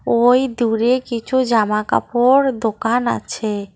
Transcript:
ওই দূরে কিছু জামাকাপড় দোকান আছে।